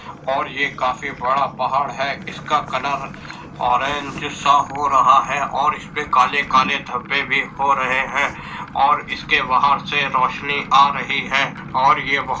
और ये काफी बड़ा पहाड़ है। इसका कलर ऑरेंज सा हो रहा है और इस पे काले-काले धब्बे भी हो रहे हैं और इसके बाहर से रोशनी आ रही है और ये --